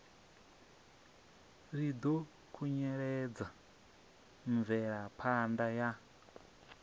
ri ḓo khunyeledza mvelaphanda ya